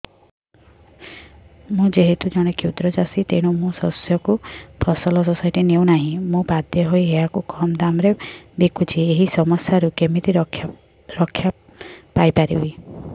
ମୁଁ ଯେହେତୁ ଜଣେ କ୍ଷୁଦ୍ର ଚାଷୀ ତେଣୁ ମୋ ଶସ୍ୟକୁ ଫସଲ ସୋସାଇଟି ନେଉ ନାହିଁ ମୁ ବାଧ୍ୟ ହୋଇ ଏହାକୁ କମ୍ ଦାମ୍ ରେ ବିକୁଛି ଏହି ସମସ୍ୟାରୁ କେମିତି ରକ୍ଷାପାଇ ପାରିବି